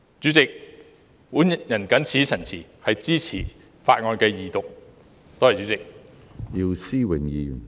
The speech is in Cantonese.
主席，我謹此陳辭，支持《條例草案》二讀，多謝主席。